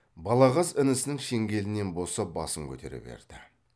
балағаз інісінің шеңгелінен босап басын көтере берді